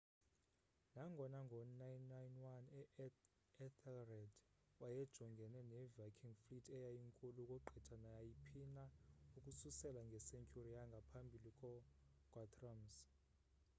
nangona ngo 991 uethelred wayejongene ne viking fleet eyayinkulu ukugqitha naayiphina ukususela nge-century yangamphabili ko guthrum's